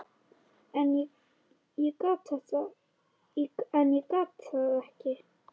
En ég gat það ekki.